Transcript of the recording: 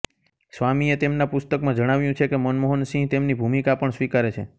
સ્વામીએ તેમના પુસ્તકમાં જણાવ્યું છે કે મનમોહનસિંહ તેમની ભૂમિકા પણ સ્વીકારે છે